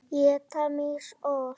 Éta mýs ost?